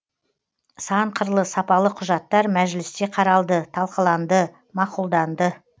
сан қырлы сапалы құжаттар мәжілісте қаралды талқыланды мақұлданды